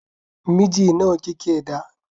Miji nawa kike da?